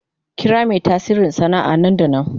Kira mai tasiri sana'a nan da nan.